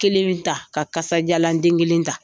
Kelen bi ta ka kasajalan den kelen ta.